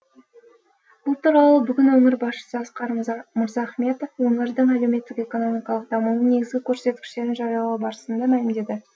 бұл туралы бүгін өңір басшысы асқар мырзахметов өңірдің әлеуметтік экономикалық дамуының негізгі көрсеткіштерін жариялау барысында мәлімдеді